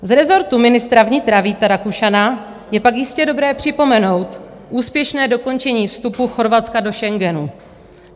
Z rezortu ministra vnitra Víta Rakušana je pak jistě dobré připomenout úspěšné dokončení vstupu Chorvatska do Schengenu.